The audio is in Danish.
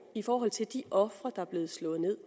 i forhold til de ofre der er blevet slået ned